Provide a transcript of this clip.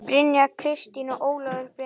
Brynja Kristín og Ólafur Breki.